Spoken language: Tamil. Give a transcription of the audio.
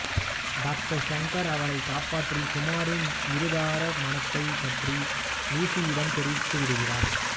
டாக்டர் ஷங்கர் அவளை காப்பாற்றி குமாரின் இருதார மணத்தைப் பற்றி லூசியிடம் தெரிவித்துவிடுகிறார்